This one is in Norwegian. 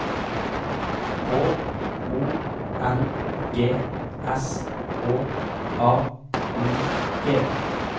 K O N G S H A U G